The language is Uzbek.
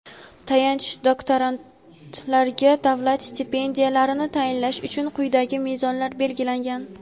Tayanch doktorantlarga davlat stipendiyalarini tayinlash uchun quyidagi mezonlar belgilangan:.